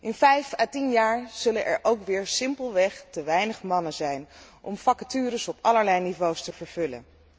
In vijf à tien jaar zullen er weer simpelweg te weinig mannen zijn om vacatures op allerlei niveaus te vervullen.